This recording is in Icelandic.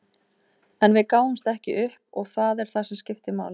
En við gáfumst ekki upp og það er það sem skiptir máli.